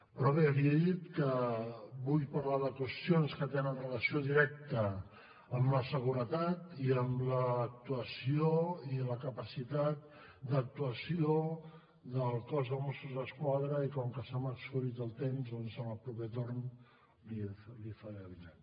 però bé li he dit que vull parlar de qüestions que tenen relació directa amb la seguretat i amb l’actuació i la capacitat d’actuació del cos de mossos d’esquadra i com que se m’ha exhaurit el temps doncs en el proper torn li ho faré avinent